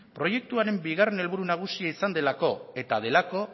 proiektuaren bigarren helburu nagusia izan delako eta delako